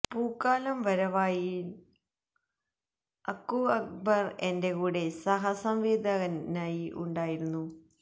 പൂക്കാലം വരവായിയില് അക്കു അക്ബര് എന്റെ കൂടെ സഹ സംവിധായകനായി ഉണ്ടായിരുന്നു